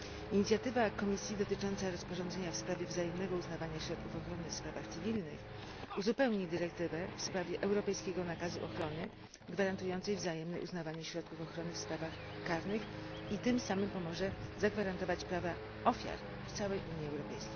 Inicjatywa Komisji dotycząca rozporządzenia w sprawie wzajemnego uznawania środków ochrony w sprawach cywilnych uzupełni dyrektywę w sprawie europejskiego nakazu ochrony gwarantującą wzajemne uznawanie środków ochrony w sprawach karnych i tym samym pomoże zagwarantować prawa ofiar w całej UE.